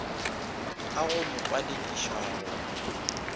a go mo palediša go